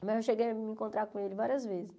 Mas eu cheguei a me encontrar com ele várias vezes.